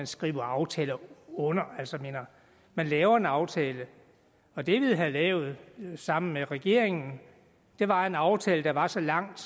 skriver aftaler under man laver en aftale og det vi havde lavet sammen med regeringen var en aftale der var så langt